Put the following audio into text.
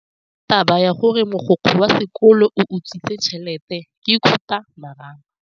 Taba ya gore mogokgo wa sekolo o utswitse tšhelete ke khupamarama.